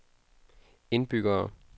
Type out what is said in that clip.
indbyggere